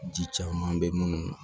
Ji caman bɛ munnu na